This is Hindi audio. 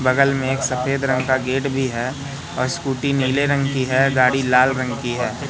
बगल में एक सफेद रंग का गेट भी है और स्कूटी नीले रंग की है गाड़ी लाल रंग की है।